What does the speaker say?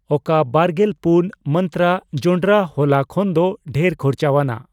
ᱚᱠᱟ ᱵᱟᱨᱜᱮᱞ ᱯᱩᱱ ᱢᱟᱱᱛᱨᱟ ᱡᱚᱱᱰᱨᱟ ᱦᱚᱞᱟ ᱠᱷᱚᱱᱫᱚ ᱰᱷᱮᱨ ᱠᱷᱚᱨᱪᱟᱣᱟᱱᱟᱜ